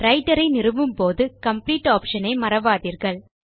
writer ஐ நிறுவும் போது காம்ப்ளீட் ஆப்ஷன் ஐ மறவாதீர்கள்